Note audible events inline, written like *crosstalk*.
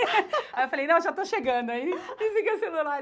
*laughs* Aí eu falei, não, já estou chegando aí, desliguei o celular.